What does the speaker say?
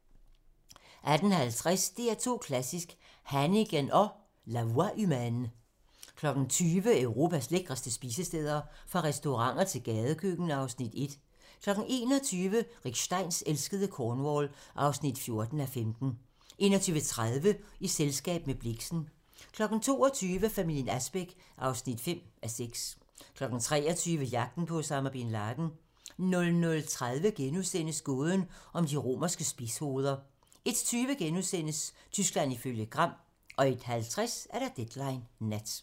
18:50: DR2 Klassisk: Hannigan & La voix humaine 20:00: Europas lækreste spisesteder - fra restauranter til gadekøkken (Afs. 1) 21:00: Rick Steins elskede Cornwall (14:15) 21:30: I selskab med Blixen 22:00: Familien Asbæk (5:6) 23:00: Jagten på Osama Bin Laden 00:30: Gåden om de romerske spidshoveder * 01:20: Tyskland ifølge Gram * 01:50: Deadline nat